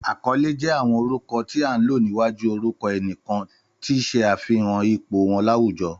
Àkọ́lé jé àwọn orúkọ tí án lò níwájú orúkọ ẹnìkan, tun ṣe àfihàn ipò wọn láwùjọ